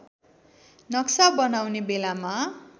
नक्सा बनाउने बेलामा